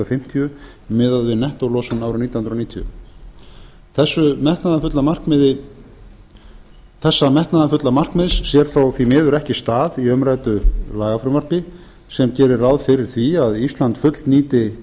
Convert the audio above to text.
fimmtíu miðað við nettólosun árið nítján hundruð níutíu þessa metnaðarfulla markmiðs sér þó því miður ekki stað í umræddu lagafrumvarpi sem gerir ráð fyrir því að ísland fullnýti